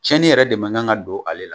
Cɛnnin yɛrɛ de man kan ka don ale la.